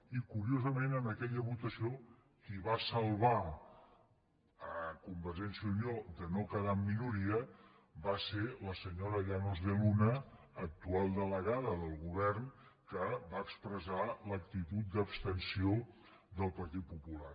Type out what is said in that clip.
i curiosament en aquella votació qui va salvar convergència i unió de no quedar en minoria va ser la senyora llanos de luna actual delegada del govern que va expressar l’actitud d’abstenció del partit popular